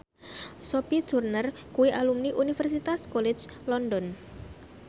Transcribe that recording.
Sophie Turner kuwi alumni Universitas College London